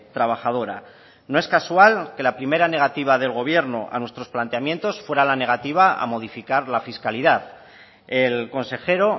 trabajadora no es casual que la primera negativa del gobierno a nuestros planteamientos fuera la negativa a modificar la fiscalidad el consejero